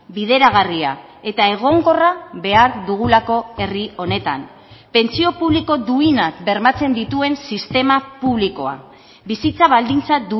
bideragarria eta egonkorra behar dugulako herri honetan pentsio publiko duinak bermatzen dituen sistema publikoa bizitza baldintza